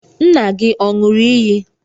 Nna gị ọ̀ ṅụrụ iyi?